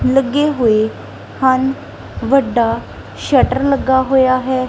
ਲੱਗੇ ਹੋਏ ਹਨ ਵੱਡਾ ਸ਼ਟਰ ਲੱਗਾ ਹੋਇਆ ਹੈ।